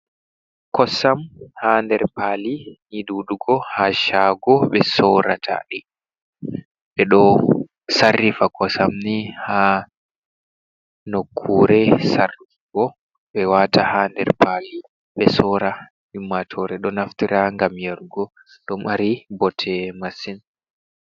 Kosam ha nder paali ni ɗuɗugo ha shago ɓe sorata ɗi. Ɓeɗo sarrifa kosam ni ha nokkure sarrufugo, ɓe wata ha nder pali ɓe sora. Ummatore ɗo naftira ngam yarugo, ɗo mari bote masin.